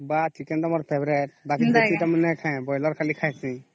ବା chicken ଟା ମୋର favourite ବାକି ଦେଶୀ ଟା ନାଇଁ କହେ ମୁଇ ବରଏଲର ଖାଲି ଖସି